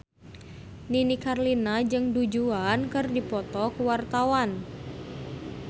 Nini Carlina jeung Du Juan keur dipoto ku wartawan